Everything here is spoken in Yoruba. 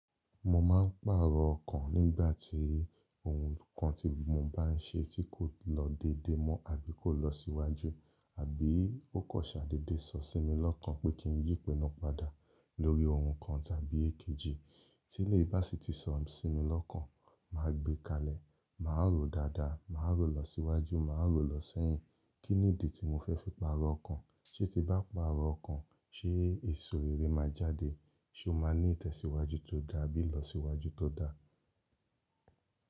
Mo máa ń pàrọ̀ ọkàn nígbà tí ohun kan tí mo bá ń ṣe tí kò lọ déédé mọ́ ọ̀ bí kò lọ síwájú, àbí ó kọṣẹ́ déédé sọ sí mi lọ́kàn pé kí n yí ipinu padà lórí ohun kan tàbí èkejì. Tílé bá sí ti sọ sí mi lọ́kàn, màá gbé kalẹ̀, màá rò dáadáa, màá rò lọ síwájú, màá rò lọ sẹ́yìn. Kí nìdí tí mo fẹ́ fi pàrọ̀ ọkàn. Sé tí bá pàrọ̀ ọkàn, ṣé èso rerẹ́ máa jáde? Ṣé o máa ní ìtẹ̀síwájú tó dáa abí ilọsíwájú tó dáa?